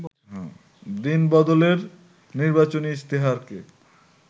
দিন-বদলের নির্বাচনী ইশতেহারকে